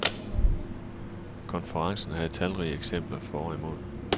Konferencen havde talrige eksempler for og imod.